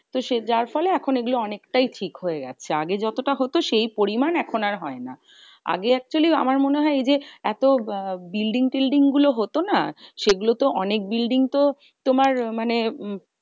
তো সে যার ফলে এখন এগুলো অনেকটাই ঠিক হয়ে গেছে। আগে যতটা হতো সেই পরিমান এখন আর হয় না। আগে actually আমার মনে হয় এই যে এত building টিলডিং গুলো হতো না? সেগুলোতো অনেক building তো তোমার মানে